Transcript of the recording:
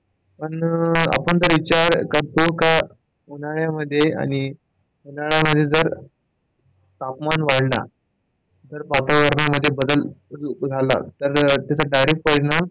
आन आपण त्याच्यात विचार करतो का त्यात उन्हाळ्या मध्ये आणि उन्हाळ्या मध्ये जर तापमान वाढला तर वातावरण मध्ये बदल झाला तर त्याचा direct परिणाम,